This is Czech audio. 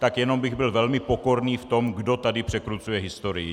Tak jenom bych byl velmi pokorný v tom, kdo tady překrucuje historii.